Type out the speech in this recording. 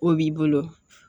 O b'i bolo